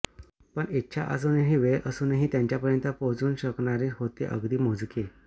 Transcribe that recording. पण इच्छा असूनही वेळ असूनही त्याच्यापर्यंत पोचू शकणारे होते अगदी मोजके